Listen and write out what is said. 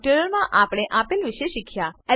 આ ટ્યુટોરીયલમાં આપણે આપેલ વિશે શીખ્યા